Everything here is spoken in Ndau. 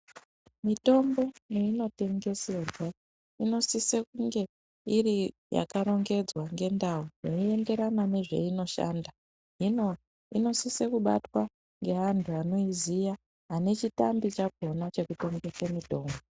Mutombo mwaunotengeserwa inosise kunge iri yakarongedzwa ngendau zvinoenderana nezveinoshanda. Hino inosisa kubatwa ngeantu anoiziya anechitambi chakona chekutengesa mutombo.